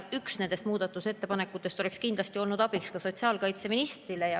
Üks nendest muudatusettepanekutest oleks kindlasti olnud abiks ka sotsiaalkaitseministrile.